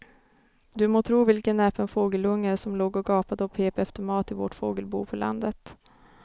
Du må tro vilken näpen fågelunge som låg och gapade och pep efter mat i vårt fågelbo på landet.